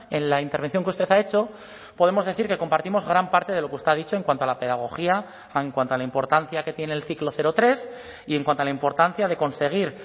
en la intervención que usted ha hecho podemos decir que compartimos gran parte de lo que usted ha dicho en cuanto a la pedagogía en cuanto a la importancia que tiene el ciclo cero tres y en cuanto a la importancia de conseguir